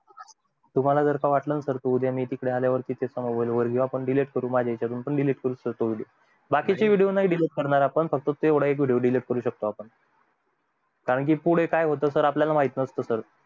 तुम्हला जर वाटलं ना sir कि मी उद्या तिकडे आल्यावर किस्सा होईल आपण delete करू माझ्या याचयातून delete करूबाकीचे video नाही delete करणार आपण फक्त तेवढा एक video delete करू शकतो आपण कारण पुढे काय होईल हे माहित नसत